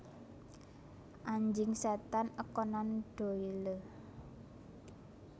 Anjing Setan A Conan Doyle